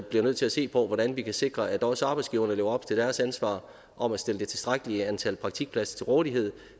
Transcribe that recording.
bliver nødt til at se på hvordan vi kan sikre at også arbejdsgiverne lever op til deres ansvar om at stille det tilstrækkelige antal praktikpladser til rådighed